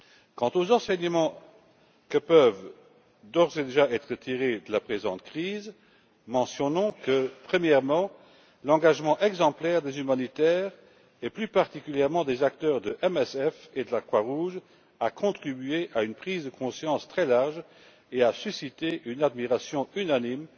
Quant aux enseignements qui peuvent d'ores et déjà être tirés de la présente crise, mentionnons que premièrement, l'engagement exemplaire des humanitaires, et plus particulièrement des acteurs de MSF et de la Croix Rouge, a contribué à une prise de conscience très large et a suscité une admiration unanime,